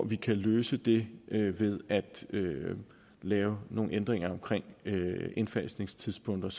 vi kan løse det ved at lave nogle ændringer af indfasningstidspunkterne